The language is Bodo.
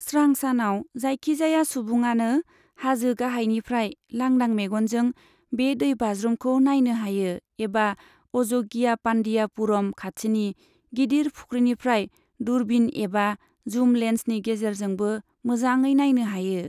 स्रां सानाव, जायखिजाया सुबुङानो हाजो गाहायनिफ्राय लांदां मेगनजों बे दै बाज्रुमखौ नायनो हायो, एबा अजगियापान्डियापुरम खाथिनि गिदिर फुख्रिनिफ्राय दूरबीन एबा जुम लेन्सनि गेजेरजोंबो मोजाङै नायनो हायो।